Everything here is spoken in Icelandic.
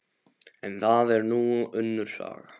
En það er nú önnur saga.